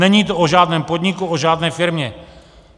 Není to o žádném podniku, o žádné firmě.